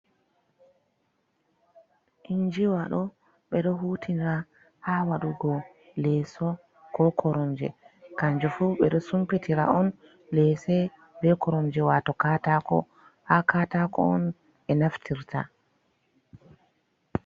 Injiwa ɗo ɓe ɗo hutinira ha waɗugo leeso, ko koromje, kanje fu ɓe ɗo sumpitira on leese, be koronje, wato kaatako ha kaatako on ɓe naftirta.